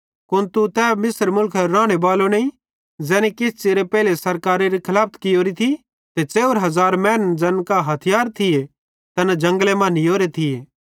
कुन तू तै मिस्र मुलखेरो रानेबालो नईं ज़ैनी किछ च़िरे पेइले सरकारारी खलाफत कियोरी थी ते 4000 मैनन् ज़ैन कां हथियार थिये तैना जंगले मां नीयोरे थिये